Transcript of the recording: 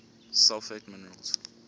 sulfate minerals